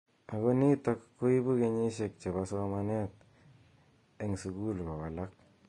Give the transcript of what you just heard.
Ako nitik koibu kenyishek che bo somanet eng sukul kowalak.